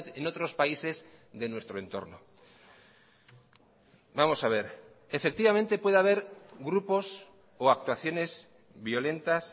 en otros países de nuestro entorno vamos a ver efectivamente puede haber grupos o actuaciones violentas